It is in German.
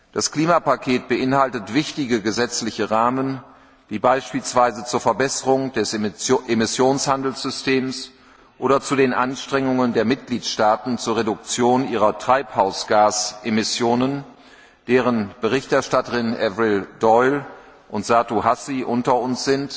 Das Klimapaket beinhaltet wichtige gesetzliche Rahmen, die beispielsweise zur Verbesserung des Emissionshandelssystems oder zu den Anstrengungen der Mitgliedstaaten zur Reduktion ihrer Treibhausgasemissionen beitragen die Berichterstatterinnen Frau Doyle und Frau Hassi sind unter uns